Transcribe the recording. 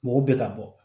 Mɔgɔ bɛ ka bɔ